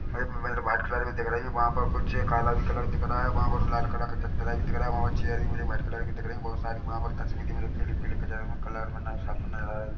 white colour में दिख रही है वहापर कुछ काला भी कलर दिख रहा हैवहापर लाल कलर का भी दिख रहा है और चीज भी मुझे वाइट कलर की दिख रही हैबोहत सारी वहापर तस्वीर मतलब कलर में न सात ]